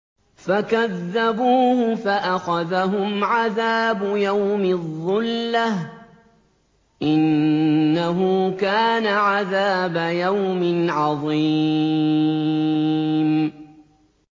فَكَذَّبُوهُ فَأَخَذَهُمْ عَذَابُ يَوْمِ الظُّلَّةِ ۚ إِنَّهُ كَانَ عَذَابَ يَوْمٍ عَظِيمٍ